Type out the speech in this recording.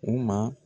U ma